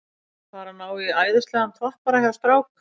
Við erum að fara að ná í æðislegan toppara hjá strák